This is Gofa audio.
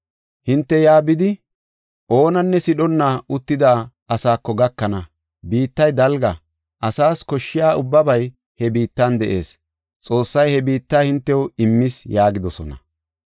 Hinte yaa bidi, oonanne sidhonna uttida asaako gakana. Biittay dalga; asas koshshiya ubbabay he biittan de7ees. Xoossay he biitta hintew immis” yaagidosona.